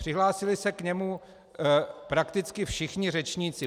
Přihlásili se k němu prakticky všichni řečníci.